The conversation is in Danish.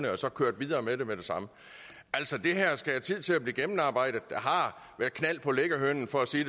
og så kørt videre med det med det samme altså det her skal have tid til at blive gennemarbejdet der har været knald på liggehønen for at sige